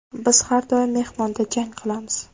Biz har doim mehmonda jang qilamiz.